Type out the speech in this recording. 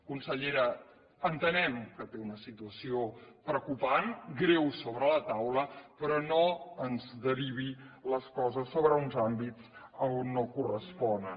consellera entenem que té una situació preocupant greu sobre la taula però no ens derivi les coses sobre uns àmbits on no corresponen